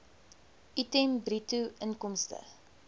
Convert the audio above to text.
item bruto inkomste